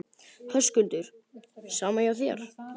Höskuldur: Sama hjá þér?